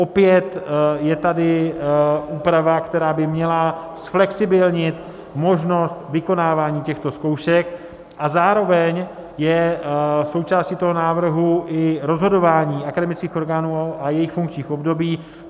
Opět je tady úprava, která by měla zflexibilnit možnost vykonávání těchto zkoušek, a zároveň je součástí toho návrhu i rozhodování akademických orgánů a jejich funkčních období.